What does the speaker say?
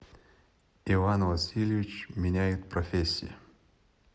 иван васильевич меняет профессию